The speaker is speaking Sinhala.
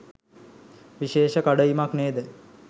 විශේෂ කඩඉමක් නේද?